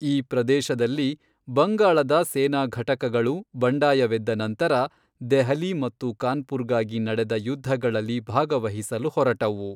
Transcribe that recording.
ಈ ಪ್ರದೇಶದಲ್ಲಿ ಬಂಗಾಳದ ಸೇನಾ ಘಟಕಗಳು, ಬಂಡಾಯವೆದ್ದ ನಂತರ, ದೆಹಲಿ ಮತ್ತು ಕಾನ್ಪುರ್ಗಾಗಿ ನಡೆದ ಯುದ್ಧಗಳಲ್ಲಿ ಭಾಗವಹಿಸಲು ಹೊರಟವು.